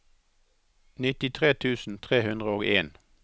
nittitre tusen tre hundre og en